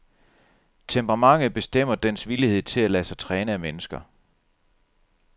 Temperamentet bestemmer dens villighed til at lade sig træne af mennesker.